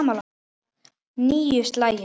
Níu slagir.